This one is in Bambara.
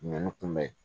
Ninnu kunbɛ